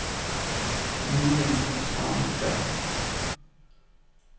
Julian Tranberg